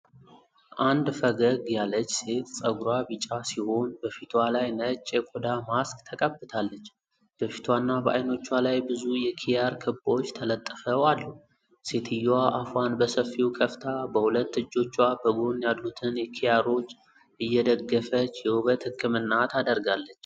አንድ ፈገግ ያለች ሴት ፀጉሯ ቢጫ ሲሆን በፊቷ ላይ ነጭ የቆዳ ማስክ ተቀብታለች። በፊቷና በአይኖቿ ላይ ብዙ የኪያር ክቦች ተለጥፈው አሉ። ሴትየዋ አፏን በሰፊው ከፍታ በሁለት እጆቿ በጎን ያሉትን ኪያሮች እየደገፈች የውበት ሕክምና ታደርጋለች።